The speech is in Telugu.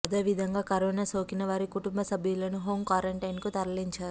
అదేవిధంగా కరోనా సోకిన వారి కుటుంబ సభ్యులను హోం క్వారంటైన్కు తరలించారు